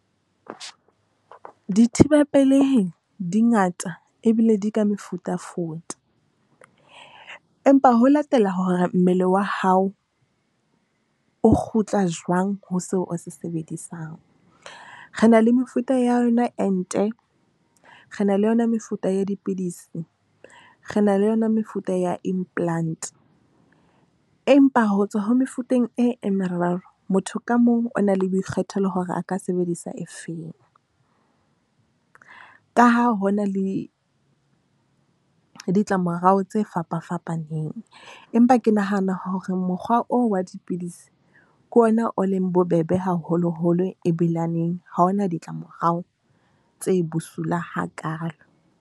Dithibapelehi di ngata ebile di ka mefutafuta, empa ho latela hore mmele wa hao o kgutla jwang ho seo o se sebedisang. Re na le mefuta ya yona ente, re na le yona mefuta ya dipidisi, re na le yona mefuta ya implant empa ho tswa ho mefuteng e e meraro. Motho ka mong o na le boikgethelo hore a ka sebedisa e feng, ka ha hona le ditlamorao tse fapa fapaneng. Empa ke nahana hore mokgwa oo wa dipidisi ke ona o leng bobebe, haholoholo e bilane ha hona ditlamorao tse bosula hakaalo.